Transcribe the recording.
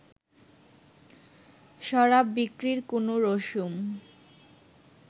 শরাব বিক্রির কোনো রসুম